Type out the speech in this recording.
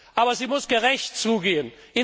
Aber es muss gerecht zugehen.